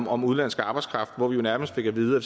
år om udenlandsk arbejdskraft hvor vi nærmest fik at vide at